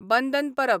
बंदन परब